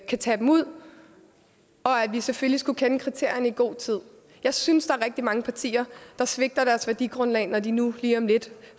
kan tage dem ud og at vi selvfølgelig skulle kende kriterierne i god tid jeg synes at rigtig mange partier der svigter deres værdigrundlag når de nu lige om lidt